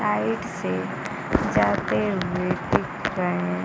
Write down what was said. side से जाते हुए दिख रहे--